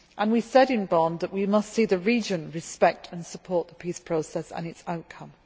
We said in Bonn that we must see the region respect and support the peace process and its outcome.